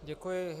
Děkuji.